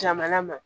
Jamana ma